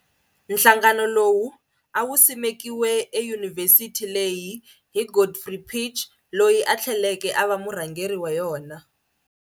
Nhlangano lowu awu simekiwe e yunivhesithini leyi hi Godfrey Pitje, loyi a thleleke ava murhangeri wa wona.